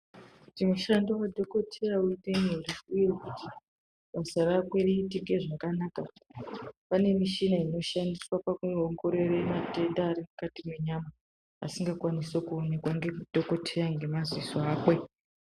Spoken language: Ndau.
Kuti mushando wadhokodheya uite nyore uye basaa rake riitike zvakanaka pane mishina inoshandiswa pakuongorora matenda ari mukati menyama Asingakwanisi kuonekwa nadhokodheya nemaziso ake.